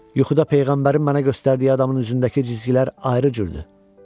Yuxuda peyğəmbərin mənə göstərdiyi adamın üzündəki cizgilər ayrı cürdür.